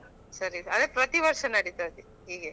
ಸರಿ ಅದೇ ಪ್ರತಿವರ್ಷ ನಡೀತದೆ ಹೀಗೆ ?